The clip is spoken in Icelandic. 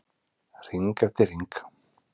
Hring eftir hring.